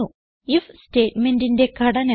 if സ്റ്റേറ്റ്മേന്റിന്റെ ഘടന